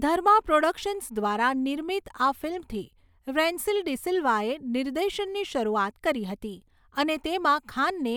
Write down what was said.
ધર્મા productions દ્વારા નિર્મિત આ ફિલ્મથી રેન્સિલ ડિ સિલ્વાએ નિર્દેશનની શરૂઆત કરી હતી અને તેમાં ખાનને